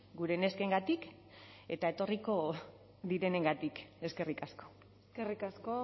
gure neskengatik eta etorriko direnengatik eskerrik asko eskerrik asko